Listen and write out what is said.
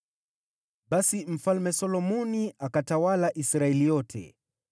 Basi Mfalme Solomoni akatawala Israeli yote.